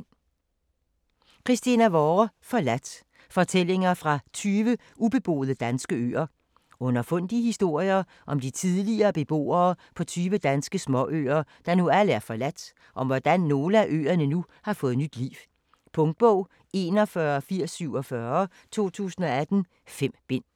Vorre, Christina: Forladt: fortællinger fra 20 ubeboede danske øer Underfundige historier om de tidligere beboere på tyve danske småøer, der nu alle er forladt, og om hvordan nogle af øerne nu har fået nyt liv. Punktbog 418047 2018. 5 bind.